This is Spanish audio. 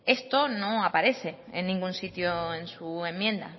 esto no aparece en ningún sitio en su enmienda